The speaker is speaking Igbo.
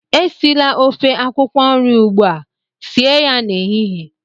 Esila ofe akwụkwọ nri ugbua, sie ya n'ehihie!